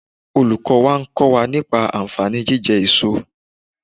Olùkọ́ wa ń kọ́ wa nípa ànfàní jíjẹ èso